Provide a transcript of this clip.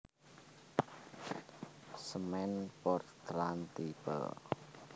Semen Portland Tipe